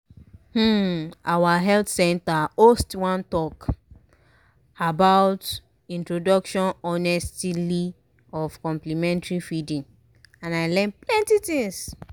um our health center host one talk about introduction honestily of complementary feeding and i learn plenty things.